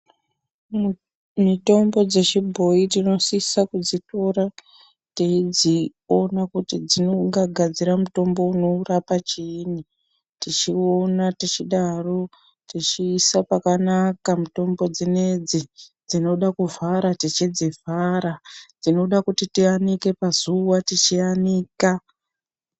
Mitombo dzechibhoyi tinosisa kudzitora teidzi ona kuti dzingagadzira mutombo unorapa chiini tichiona tichidaro tichiisa pakanaka mitombo dzinedzi dzinoda kuvhara tichidzivhara dzinoda kuti tiyanike pazuva tichiyanika.